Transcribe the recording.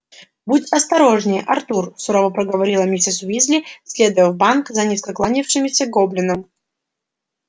будь осторожнее артур сурово проговорила миссис уизли следуя в банк за низко кланявшимися гоблином